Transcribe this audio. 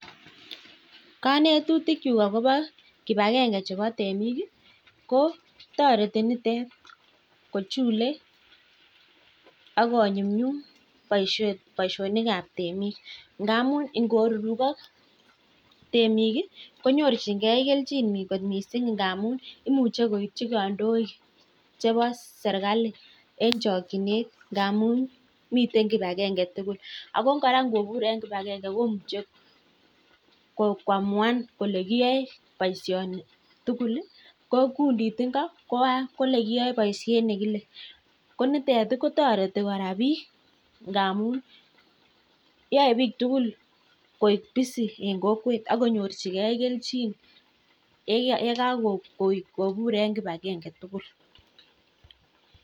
Kanetutikyuk akobo kipagenge chebo temik ii ko toreti mitet kochule ak konyumnyum boisionik ab temik ngamun ingorurugok temik konyorchingen keljin missing ngamun imuche koitchi kandoik chebo sergali en chokyinet ngamun miten kipagenge tugul, ako kora ingobur en kipagenge komuche koamuan kole kiyoe boisioni tuguli ko kundit ingo kole kiyoe boisiet negile, ko nitet kotoreti kora biik ngamun yoe biik tugul koik busy en kokwet ak konyorchige kelchin yekakobur en kipagenge tugul.